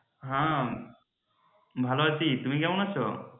হ্যাঁ ভালো আছি। তুমি কেমন আছো?